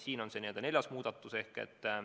See on see neljas muudatus.